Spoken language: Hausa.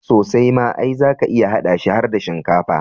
Sosai ma, ai zaka iya haɗa shi har da shinkafa.